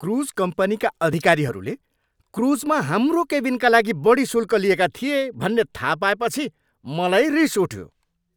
Cruise कम्पनीका अधिकारीहरूले क्रुजमा हाम्रो केबिनका लागि बढी शुल्क लिएका थिए भन्ने थाहा पाएपछि मलाई रिस उठ्यो।